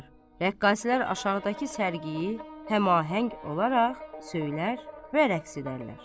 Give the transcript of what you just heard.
Rəqqaslər aşağıdakı sərgiyi həmahəng olaraq söylər və rəqs edərlər.